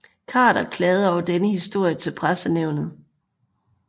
Khader klagede over denne historie til Pressenævnet